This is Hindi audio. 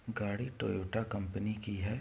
गाड़ी टोयोटा कंपनी की है।